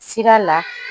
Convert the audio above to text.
Sira la